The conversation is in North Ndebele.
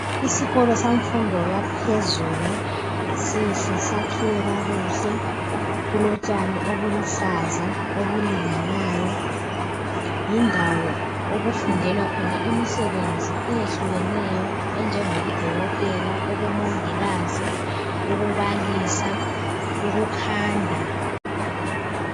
Isikolo semfundo yaphezulu sihle sakhiwe kakuhle kulotshani obuluhlaza obulinganayo yindawo okufundelwa khona imisebenzi eyehlukeneyo enjengobudokotela, ubumongikazi, ukubalisa, ukukhanda.